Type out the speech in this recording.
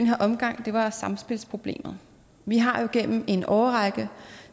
her omgang samspilsproblemet vi har igennem en årrække